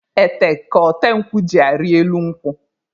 Ete ka ote nkwụ jị arị elu nkwụ.